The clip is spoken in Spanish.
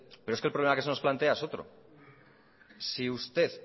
pero es que el problema que se nos plantea es otro si usted